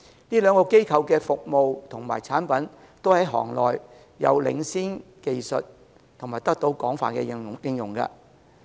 這兩個機構的服務及產品均在行內具領先技術及得到廣泛應用。